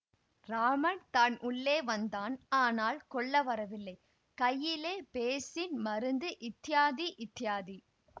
ராமன் தான் உள்ளே வந்தான் ஆனால் கொல்ல வரவில்லை கையிலே பேஸின் மருந்து இத்யாதி இத்யாதி